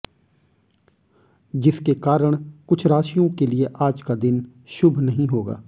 जिसके कारण कुछ राशियों के लिए आज का दिन शुभ नहीं होगा